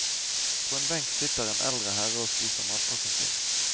På en benk sitter en eldre herre og spiser matpakken sin.